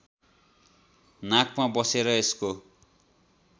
नाकमा बसेर यसको